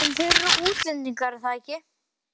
En þeir eru útlendingar, er það ekki?